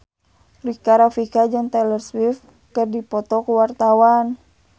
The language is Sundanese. Rika Rafika jeung Taylor Swift keur dipoto ku wartawan